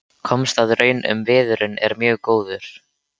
Komst að raun um að viðurinn er mjög góður.